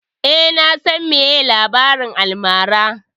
Eh, na san meye labarin almara